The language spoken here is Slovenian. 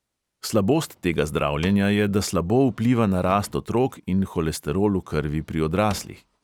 Slabost tega zdravljenja je, da slabo vpliva na rast otrok in holesterol v krvi pri odraslih.